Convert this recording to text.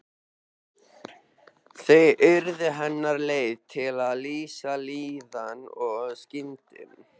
Þau urðu hennar leið til að lýsa líðan og skynjun.